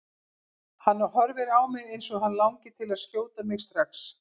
Hann horfir á mig eins og hann langi til að skjóta mig strax.